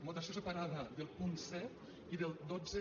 votació separada del punt set i del dotze